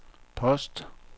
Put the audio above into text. post